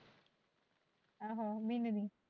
ਆਹੋ ਮਹੀਨੇ ਦੀ।